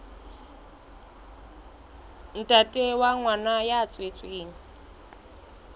ntate wa ngwana ya tswetsweng